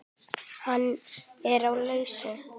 Hann er á lausu.